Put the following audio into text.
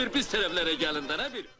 Ə bir biz tərəflərə gəlin də nə bir.